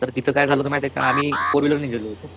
तर तिथं काय झालं होत माहिते का आम्ही फोर व्हीलर ने गेलो होतो.